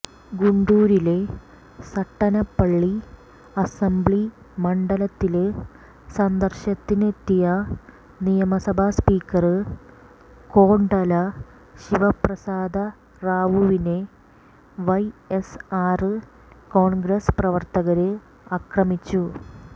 ഗുണ്ടൂരിലെ Sattenapalli assembly മണ്ഡലത്തില് സന്ദര്ശനത്തിനെത്തിയ നിയമസഭ സ്പീക്കര് കോഡല ശിവപ്രസാദ റാവുവിനെ വൈഎസ്ആര് കോണ്ഗ്രസ് പ്രവര്ത്തകര് ആക്രമിച്ചു